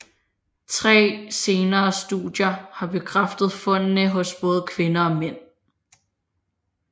Tre senere studier har bekræftet fundene hos både kvinder og mænd